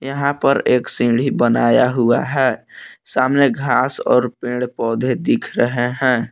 यहां पर एक सीढ़ी बनाया हुआ है सामने घास और पेड़ पौधे दिख रहे हैं।